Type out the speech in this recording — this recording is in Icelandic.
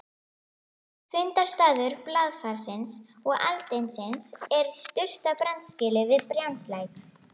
Fundarstaður blaðfarsins og aldinsins er í Surtarbrandsgili við Brjánslæk.